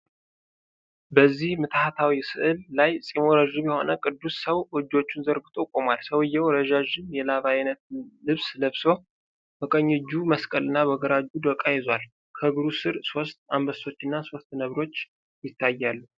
በዚህ ምትሃታዊ ሥዕል ላይ ፂሙ ረዥም የሆነ ቅዱስ ሰው እጆቹን ዘርግቶ ቆሟል። ሰውዬው ረዣዥም የላባ አይነት ልብስ ለብሶ በቀኝ እጁ መስቀልና በግራ እጁ ዶቃ ይዟል። ከእግሩ ስር ሦስት አንበሶችና ሦስት ነብሮች ይታያሉ።